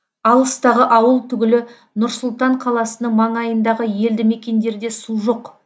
алыстағы ауыл түгілі нұр сұлтан қаласының маңайындағы елді мекендерде су жоқ